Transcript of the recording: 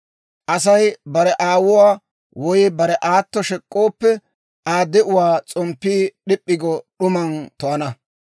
Asay bare aawuwaa woy bare aato shek'k'ooppe, Aa de'uwaa s'omppiyaa d'ip'p'i go d'uman to'ana.